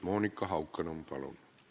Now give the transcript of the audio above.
Monika Haukanõmm, palun!